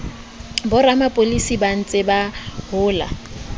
boramapolasi ba ntseng ba hola